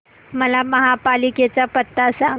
मला महापालिकेचा पत्ता सांग